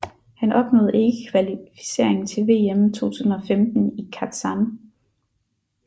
Han opnåede ikke kvalificering til VM 2015 i Kazan